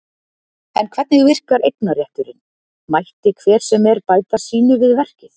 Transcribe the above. En hvernig virkar eignarétturinn, mætti hver sem er bæta sínu við verkið?